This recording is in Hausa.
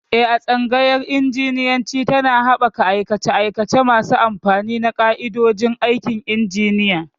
Eh, Tsangayar Injiniyanci tana haɓaka aikace-aikace masu amfani na ƙa'idodin aikin injiniya.